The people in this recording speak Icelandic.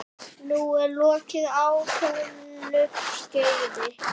Nú er lokið ákveðnu skeiði.